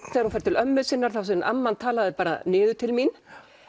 þegar hún fer til ömmu sinnar þá segir amman talaði bara niður til mín